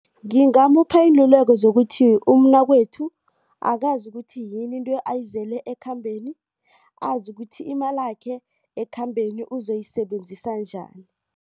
Ngingamupha iinlululeko zokuthi umnakwethu akazi ukuthi yini into ayizele ekhambeni. Azi ukuthi imalakhe ekhambeni uzoyisebenzisa njani.